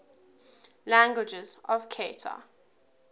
languages of qatar